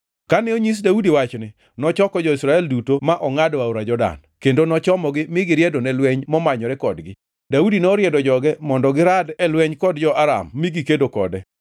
Kane onyis Daudi wachni, nochoko jo-Israel duto ma ongʼado aora Jordan, kendo nochomogi mi giriedo ne lweny momanyore kodgi. Daudi noriedo joge mondo girad e lweny kod jo-Aram mi gikedo kode.